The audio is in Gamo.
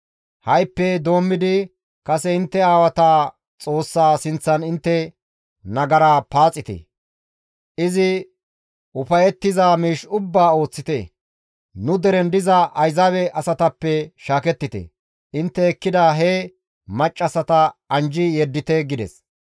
Ha7ippe doommidi kase intte aawata Xoossaa sinththan intte nagara paaxite; izi ufayettiza miish ubbaa ooththite; nu deren diza Ayzaabe asatappe shaakettite; intte ekkida he maccassata anjji yeddite» gides.